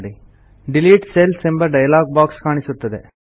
delete cells ಎಂಬ dialog box ಕಾಣಿಸುತ್ತದೆ